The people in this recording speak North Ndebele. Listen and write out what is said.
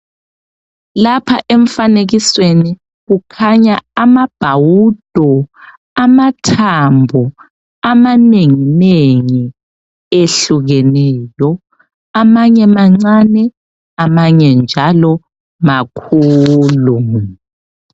Lapha emfanekisweni kukhanya amabhawudo amathambo amanengi nengi ehlukeneyo amanye mancane amanye njalo makhulu.